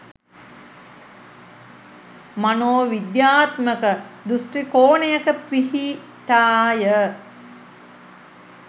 මනෝවිද්‍යාත්මක දෘෂ්ටි කෝණයක පිහිටාය.